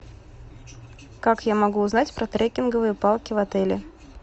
как я могу узнать про трекинговые палки в отеле